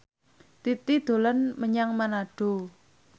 Titi dolan menyang Manado